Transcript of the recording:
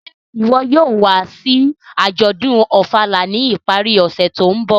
Ṣe iwọ yóò wa si ajọdun Ofala ni ipari ọse to nbọ?